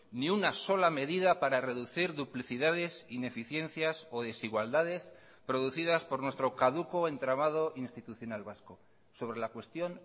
ni una sola medida para reducir duplicidades ineficiencias o desigualdades producidas por nuestro caduco entramado institucional vasco sobre la cuestión